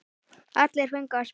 Allir fengu að spila.